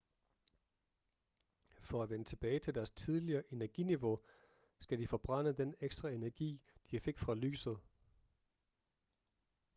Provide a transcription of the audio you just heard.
for at vende tilbage til deres tidligere energiniveau skal de forbrænde den ekstra energi de fik fra lyset